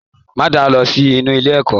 Ma da lọ sí inú ilé oko.